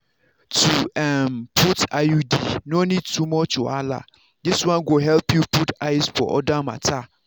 to um put iud no need too much wahala this one go help you put eyes for other matter.